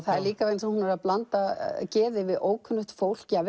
er líka vegna þess að hún er að blanda geði við ókunnugt fólk